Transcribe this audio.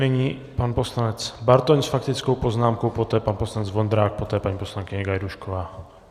Nyní pan poslance Bartoň s faktickou poznámkou, poté pan poslanec Vondrák, poté paní poslankyně Gajdůšková.